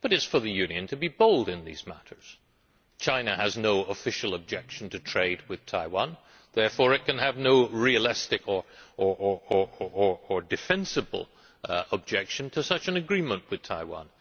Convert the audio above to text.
But it is for the Union to be bold in these matters. China has no official objection to trade with Taiwan, and therefore it can have no realistic or defensible objection to such an agreement with Taiwan.